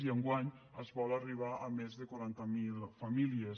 i enguany es vol arribar a més de quaranta mil famílies